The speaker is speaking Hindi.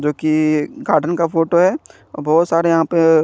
जो की गार्डन का फोटो है बहोत सारे यहाँपे --